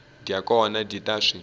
dya kona dyi ta swi